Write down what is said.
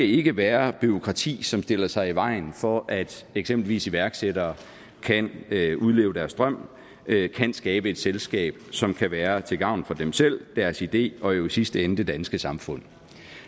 ikke være bureaukrati som stiller sig i vejen for at eksempelvis iværksættere kan kan udleve deres drøm kan skabe et selskab som kan være til gavn for dem selv deres idé og jo i sidste ende det danske samfund